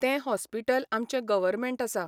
तें हॉस्पिटल आमचें गर्वमँट आसा.